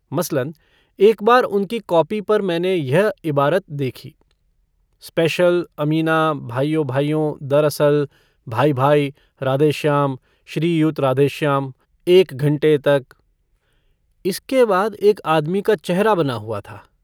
मसलन, एक बार उनकी कॉपी पर मैंने यह इबारत देखी - स्पेशल अमीना भाइयों-भाइयों दरअसल भाई-भाई राधेश्याम श्रीयुत राधेश्याम एक घंटे तक। इसके बाद एक आदमी का चेहरा बना हुआ था।